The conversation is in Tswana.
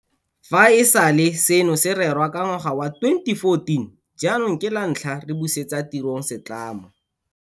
Fa e sale seno se rerwa ka ngwaga wa 2014 jaanong ke lantlha re busetsa tirong setlamo.